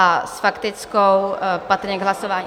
A s faktickou, patrně k hlasování...